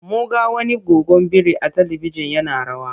Mun ga wani goggon biri a talibijin yana rawa.